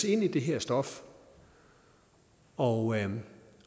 ind i det her stof og